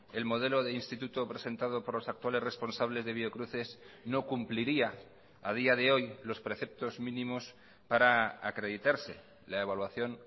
el modelo de instituto presentado por los actuales responsables de biocruces no cumpliría a día de hoy los preceptos mínimos para acreditarse la evaluación